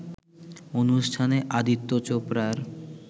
অনুষ্ঠানে আদিত্য চোপড়ার